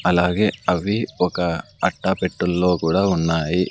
అలాగే అవి ఒక అట్టపెట్టెల్లో కూడా ఉన్నాయి.